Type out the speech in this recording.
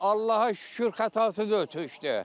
Allaha şükür xətası deyil tökdü.